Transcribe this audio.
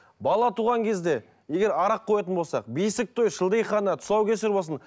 бала туған кезде егер арақ қоятын болсақ бесік той шілдехана тұсаукесер болсын